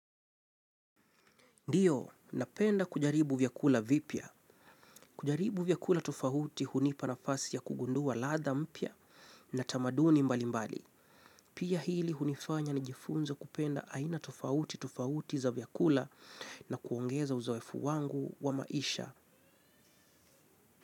Ndio, napenda kujaribu vyakula vipya. Kujaribu vyakula tofauti hunipa nafasi ya kugundua ladha mpya, na tamaduni mbalimbali. Pia hili hunifanya nijifunze kupenda aina tofauti tofauti za vyakula na kuongeza uzoefu wangu wa maisha.